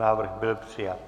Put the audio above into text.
Návrh byl přijat.